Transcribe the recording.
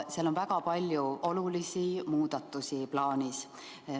Selles on väga palju olulisi muudatusi plaanis.